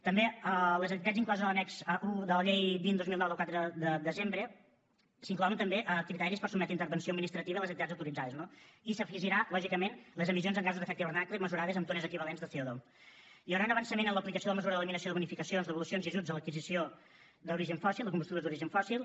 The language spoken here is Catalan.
també les activitats incloses en l’annex i de la llei vint dos mil nou del quatre de desembre s’inclouen també entre els criteris per sotmetre a intervenció administrativa les activitats ja autoritzades no i s’hi afegiran lògicament les emissions en gasos d’efecte hivernacle mesurades amb tones equivalents de comesura de l’eliminació de bonificacions devolucions i ajuts en l’adquisició d’origen fòssil o combustibles d’origen fòssil